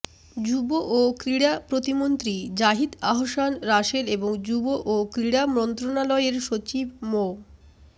যুব ও ক্রীড়া প্রতিমন্ত্রী জাহিদ আহসান রাসেল এবং যুব ও ক্রীড়া মন্ত্রণালয়ের সচিব মো